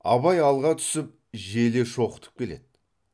абай алға түсіп желе шоқытып келеді